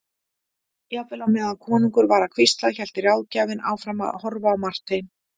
Jafnvel á meðan konungur var að hvísla hélt ráðgjafinn áfram að horfa á Martein.